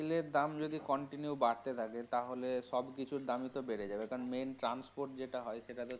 তেলের দাম যদি continue বাড়তে থাকে তাহলে সব কিছুর দামই তো বেড়ে যাবে কারণ main transport যেটা হয় সেটা তো.